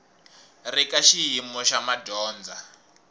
ri ka xiyimo xa madyondza